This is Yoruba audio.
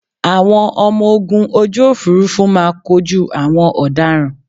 Àwọn ọmọ ogun ojú òfuurufú máa kojú àwọn ọ̀daràn